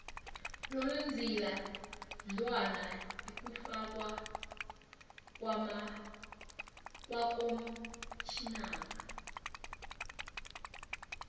lolzila mnwana ikufakwa kwakomtjhinara